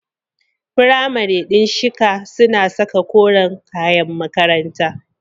Firamare din shika suna saka koren kayan makaranta.